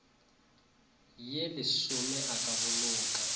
ye lesome a ka boloka